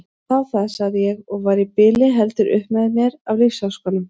Þá það, sagði ég og var í bili heldur upp með mér af lífsháskanum.